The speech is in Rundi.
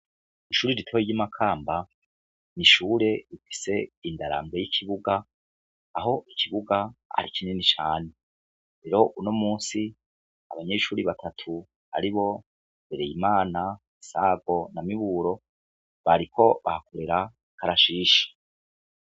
Ishure igitoyo ry'imakamba nishure ifise indarambo y'ikibuga aho ikibuga hari kinyeni cane rero uno musi abanyeshuri batatu ari bo bereye imana sago na miburo bariko bahakorera karashisha.